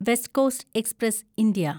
west coast express (India)